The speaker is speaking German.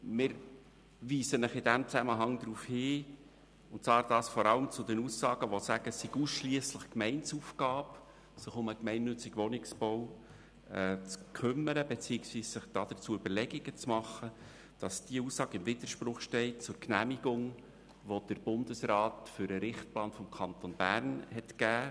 Vor allem im Zusammenhang mit den Aussagen, es sei ausschliesslich Gemeindeaufgabe, sich um den gemeinnützigen Wohnungsbau zu kümmern beziehungsweise sich dazu Überlegungen zu machen, weisen wir Sie darauf hin, dass dies im Widerspruch zur Genehmigung steht, die der Bundesrat zum Richtplan des Kantons Bern gegeben hat.